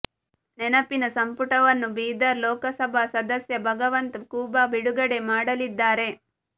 ನೆನಪಿನ ಸಂಪುಟವನ್ನು ಬೀದರ್ ಲೋಕಸಭಾ ಸದಸ್ಯ ಭಗವಂತ ಖೂಬಾ ಬಿಡುಗಡೆ ಮಾಡಲಿದ್ದಾರೆ